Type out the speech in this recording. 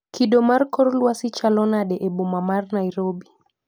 Kido mar kor lwasi chalo nade e boma mar Nairobi